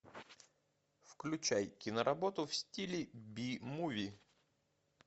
включай киноработу в стиле би муви